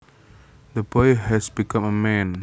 The boy has become a man